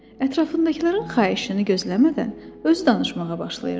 Ətrafındakıların xahişini gözləmədən özü danışmağa başlayırdı.